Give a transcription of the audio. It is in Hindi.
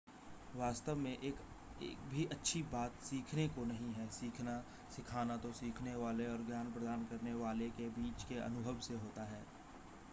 वास्तव में एक भी अच्छी बात सीखने को नहीं है सीखना सिखाना तो सीखने वाले और ज्ञान प्रदान करने वाले के बीच के अनुभव से होता है